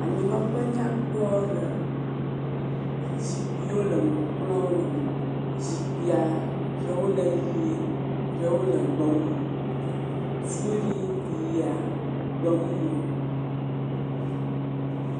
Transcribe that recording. Anyinɔƒe nyakpɔ aɖe. Zikpuiwo le eme, kplɔwo le eme. Zikpuia eɖewo le ʋie, eɖewo le gbemumu. Suiɖi ya gbemumu.